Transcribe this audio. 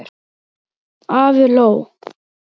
Afi hló.